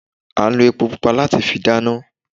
À n lo epo pupa láti fi dáná